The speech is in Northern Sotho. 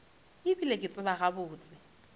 e bile ke tseba gabotse